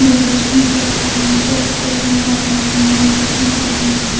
Brush नजर आ रहे हैचोकोज़ नजर आ रहे हैनोटबुक नजर आ रहे है ।